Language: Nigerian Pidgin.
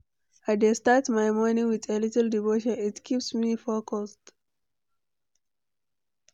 I dey start my morning with a little devotion, it keeps me focused.